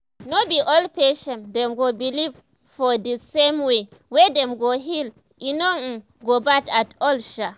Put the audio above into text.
no be all patients dem go believe for di same way wey dem go heal e no um go bad at all sha.